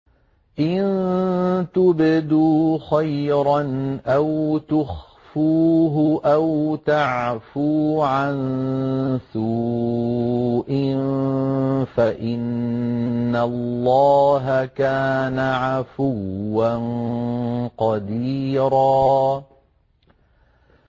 إِن تُبْدُوا خَيْرًا أَوْ تُخْفُوهُ أَوْ تَعْفُوا عَن سُوءٍ فَإِنَّ اللَّهَ كَانَ عَفُوًّا قَدِيرًا